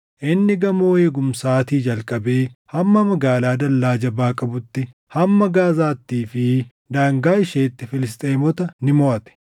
Inni gamoo eegumsaatii jalqabee hamma magaalaa dallaa jabaa qabuutti, hamma Gaazaattii fi daangaa isheetti Filisxeemota ni moʼate.